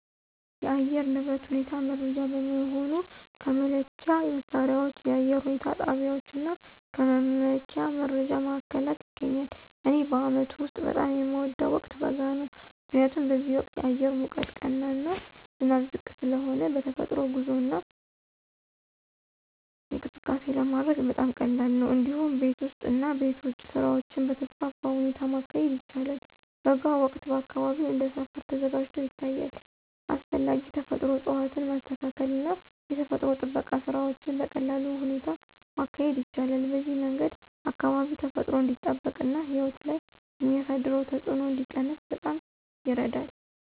የአየር ንብረት ሁኔታ መረጃ በመሆኑ ከመለኪያ መሣሪያዎች፣ የአየር ሁኔታ ጣቢያዎች እና ከመመኪያ መረጃ ማዕከላት ይገኛል። እኔ በአመቱ ውስጥ በጣም የሚወደው ወቅት በጋ ነው። ምክንያቱም በዚህ ወቅት አየር ሙቀት ቀና እና ዝናብ ዝቅ ስለሆነ በተፈጥሮ ጉዞ እና እንቅስቃሴ ለማድረግ በጣም ቀላል ነው። እንዲሁም ቤት ውስጥ እና ቤት ውጭ ስራዎችን በተስፋፋ ሁኔታ ማካሄድ ይቻላል። በጋ ወቅት አካባቢው እንደ ሰፈር ተዘጋጅቶ ይታያል፣ አስፈላጊ ተፈጥሮ እፅዋትን ማስተካከል እና የተፈጥሮ ጥበቃ ስራዎችን በቀላል ሁኔታ ማካሄድ ይቻላል። በዚህ መንገድ አካባቢ ተፈጥሮ እንዲጠበቅ እና ሕይወት ላይ የሚያሳደረው ተጽዕኖ እንዲቀነስ በጣም ይረዳል።